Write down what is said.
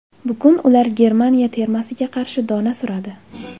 Bugun ular Germaniya termasiga qarshi dona suradi.